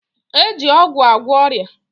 E ji ọgwụ agwọ ọrịa